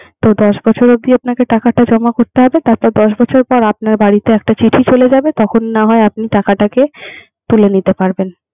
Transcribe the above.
তো দশ বছরের জন্য টাকা জমা করতে তারপর দশ বছর পর আপনার বাড়িতে একটা চিঠি চলে যাবে। তখন না হয় টাকাটাকে তুলে নিতে পারবেন